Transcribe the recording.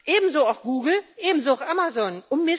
Ebenso auch Google, ebenso auch Amazon.